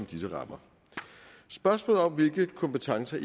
disse rammer spørgsmålet om hvilke kompetencer